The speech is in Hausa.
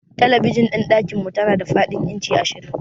Talabijin ɗin dakinmu tana da fadin inci ashirin.